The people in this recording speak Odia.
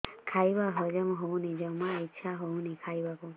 ଖାଇବା ହଜମ ହଉନି ଜମା ଇଛା ହଉନି ଖାଇବାକୁ